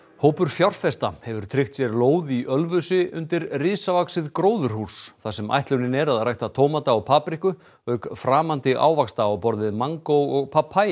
hópur fjárfesta hefur tryggt sér lóð í Ölfusi undir risavaxið gróðurhús þar sem ætlunin er að rækta tómata og papriku auk framandi ávaxta á borð við mangó og